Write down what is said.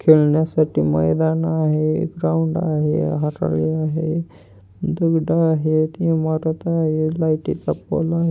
खेळण्यासाठी मैदान आहे. ग्राउंड आहे. हराळी आहे. दगड आहेत. इमारत आहे. लाईटी चा पोल आहे.